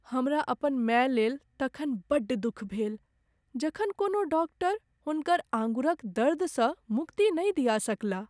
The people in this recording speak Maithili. हमरा अपन माय लेल तखन बड्ड दुख भेल जखन कोनो डाक्टर हुनकर अँगुरीक दर्दसँ मुक्ति नहि दिया सकलाह।